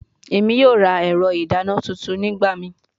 Emi yoo ra ẹrọ idana tuntun nigbamii